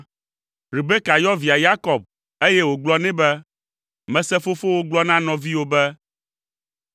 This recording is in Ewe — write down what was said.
Rebeka yɔ via Yakob, eye wògblɔ nɛ be, “Mese fofowò gblɔ na nɔviwò be,